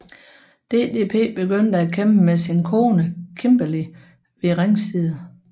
DDP begyndte at kæmpe med sin kone Kimberly ved ringside